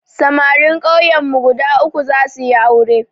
Samarin kauyen mu guda uku za suyi aure